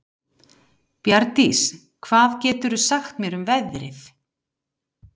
Bjarndís, hvað geturðu sagt mér um veðrið?